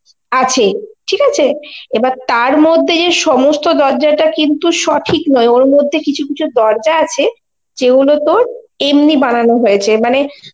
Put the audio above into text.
আছে, ঠিক আছে, এবার তার মধ্যে যে সমস্ত দরজাটা কিন্তু সঠিক নই ওর মধ্যে কিছু কিছু দরজা অছে যেগুলো তর এমনি বানানো হয়েছে মানে